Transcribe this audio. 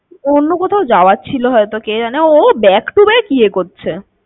ওর অন্য কোথাও যাওয়ার ছিল হয়তো কে জানে ও ও back to back ইয়ে করছে।